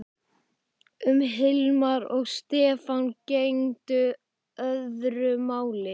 Um Hilmar og Stefán gegndi öðru máli.